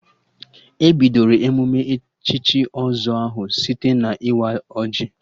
E bidoro emụme echichi ọzọ ahụ site na-ịwa ọjị